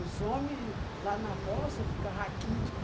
Os homem lá na roça fica raquítico.